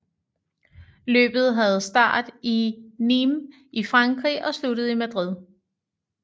Løbet havde start i Nîmes i Frankrig og sluttede i Madrid